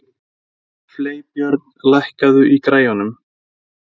Freybjörn, lækkaðu í græjunum.